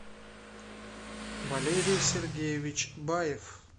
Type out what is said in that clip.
валерий сергеевич баев